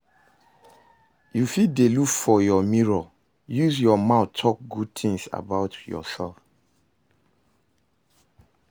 You fit dey look your mirror use your mouth talk good things about yourself